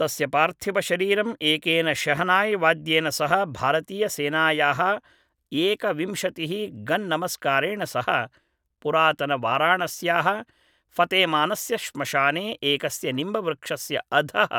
तस्य पार्थिवशरीरं एकेन शेहनाय्वाद्येन सह भारतीयसेनायाः एकविंशतिः गन् नमस्कारेण सह पुरातनवाराणस्याः फतेमानस्य श्मशाने एकस्य निम्बवृक्षस्य अधः